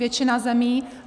Většina zemí.